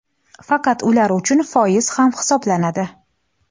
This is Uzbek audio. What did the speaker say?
faqat ular uchun foiz ham hisoblanadi.